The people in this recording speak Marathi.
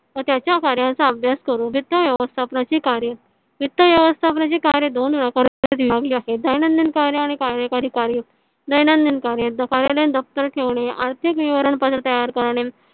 व त्याच्या कार्याचा अभ्यास करू. वित्त व्यवस्थापन ची कार्य वित्त व्यवस्थापन ची कार्य दोन प्रकारत विभागली आहे. दैनंदिन कार्य आणि कार्यकारी कार्य. दैनंदिन कार्य कार्यालयात दफ्तर ठेवणे आर्थिक नियोजन पद्धत तयार करणे.